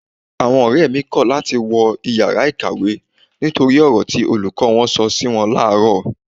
Àwọn ọ̀rẹ́ mi kọ̀ láti wọ ìyára ìkàwé nítorí ọ̀rọ̀ tí olùkọ́ wọn sọ si wọn làárọ̀.